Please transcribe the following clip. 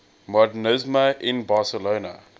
modernisme in barcelona